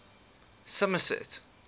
somerset